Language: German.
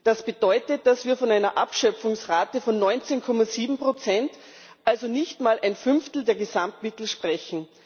Das bedeutet, dass wir von einer Abschöpfungsrate von 19,7 also nicht mal ein Fünftel der Gesamtmittel sprechen.